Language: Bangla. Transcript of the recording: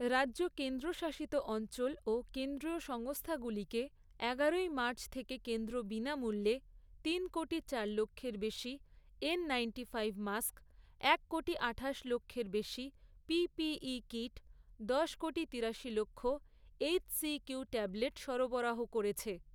রাজ্য, কেন্দ্রশাসিত অঞ্চল ও কেন্দ্রীয় সংস্থাগুলিকে, এগারোই মার্চ থেকে কেন্দ্র বিনামূল্যে তিন কোটি চার লক্ষের বেশী এন নাইন্টিফাইভ মাস্ক, এক কোটি আঠাশ লক্ষের বেশি পিপিই কিট, দশ কোটি, তিরাশি লক্ষ এইচসিকিউ ট্যাবলেট সরবরাহ করেছে।